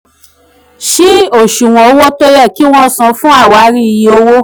ṣí asuwọ̀n owó tó yẹ kí wọ́n san fún àwárí iye owó.